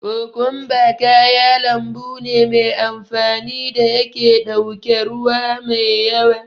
Kokumba kaya lambu ne me amfani da yake ɗauke ruwa me yawa.